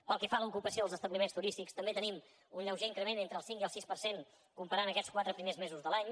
pel que fa a l’ocupació als establiments turístics també tenim un lleuger increment entre el cinc i el sis per cent comparant aquests primers quatre mesos de l’any